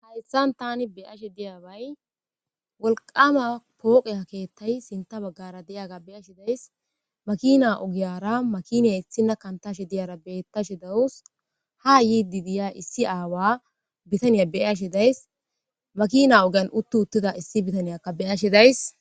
hayssan tani beashe diyabay wolqama pooqe a keettay sinta baggara diyaga beyashi days makina ogiyara makiniya issina kantashe diyara bettashi dawus ha yiidi diya issi aawa bitaniya beashi days makina ogan uttu uttida issi bitaniyakka beyashi days